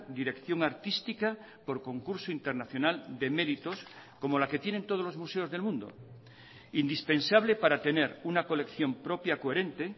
dirección artística por concurso internacional de meritos como la que tienen todos los museos del mundo indispensable para tener una colección propia coherente